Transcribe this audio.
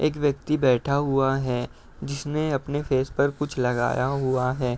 एक व्यक्ति बैठा हुआ है जिसने अपने फेस पर कुछ लगाया हुआ है।